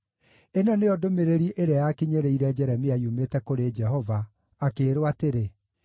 Ĩno nĩyo ndũmĩrĩri ĩrĩa yakinyĩrĩire Jeremia yumĩte kũrĩ Jehova, akĩĩrwo atĩrĩ: